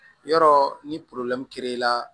Yɔrɔ ni i la